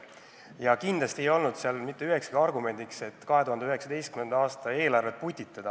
Ja kindlasti ei olnud seal mitte ühekski argumendiks, et on vaja 2019. aasta eelarvet putitada.